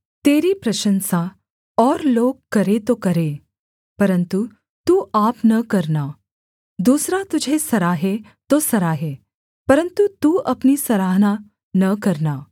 तेरी प्रशंसा और लोग करें तो करें परन्तु तू आप न करना दूसरा तुझे सराहे तो सराहे परन्तु तू अपनी सराहना न करना